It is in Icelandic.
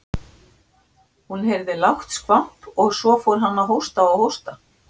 Málið er dagljóst.